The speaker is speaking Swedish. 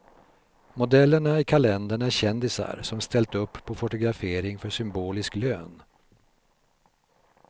Modellerna i kalendern är kändisar som ställt upp på fotografering för symbolisk lön.